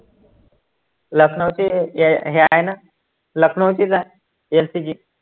लखनऊची हे हे हाय नं लखनऊचीचं आहे LCG